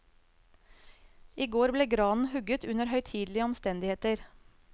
I går ble granen hugget under høytidelige omstendigheter.